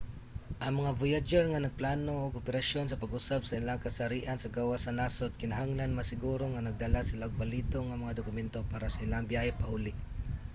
ang mga voyager nga nagplano og operasyon sa pag-usab sa ilahang kasarian sa gawas sa nasud kinahanglan masiguro nga nagdala sila og balido nga mga dokumento para sa ilahang biyahe pauli